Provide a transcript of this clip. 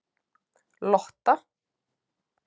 Lotta